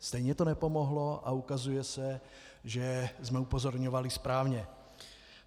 Stejně to nepomohlo a ukazuje se, že jsme upozorňovali správně.